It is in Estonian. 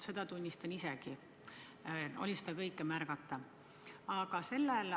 Seda tunnistan ma isegi, seda kõike oli märgata.